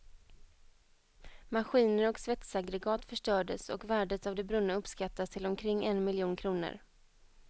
Maskiner och svetsaggregat förstördes och värdet av det brunna uppskattas till omkring en miljon kronor.